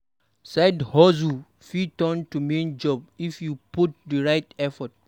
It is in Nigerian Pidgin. Side-hustles fit turn to main job if you put in di right effort.